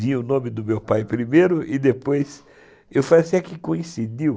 Vinha o nome do meu pai primeiro e depois... Eu falei assim, é que coincidiu.